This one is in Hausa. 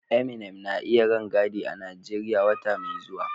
Eminem na iya rangadi a Najeriya wata mai zuwa.